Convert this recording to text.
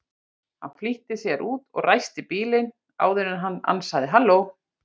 Hann flýtti sér út og ræsti bílinn áður en hann ansaði: Halló?